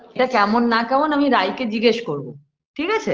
ঠিকাছে কেমন না কেমন আমি রাই কে জিজ্ঞেস করব ঠিকাছে